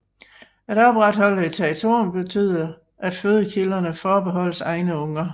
At opretholde et territorium betyder at fødekilderne forbeholdes egne unger